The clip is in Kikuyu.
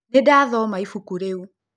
Nĩndathoma ĩbũkũ rĩũ.